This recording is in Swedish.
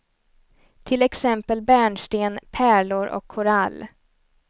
Till exempel bärnsten, pärlor och korall.